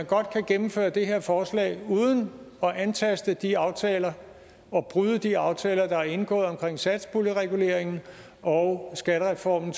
godt kan gennemføre det her forslag uden at antaste de aftaler og bryde de aftaler der er indgået omkring satspuljereguleringen og skattereformen